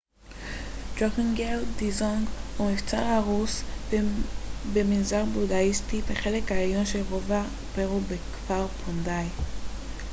דרוקגייל דזונג הוא מבצר הרוס ומנזר בודהיסטי בחלק העליון של רובע פארו בכפר פונדיי